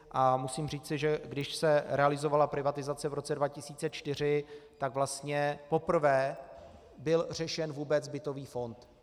A musím říci, že když se realizovala privatizace v roce 2004, tak vlastně poprvé byl řešen vůbec bytový fond.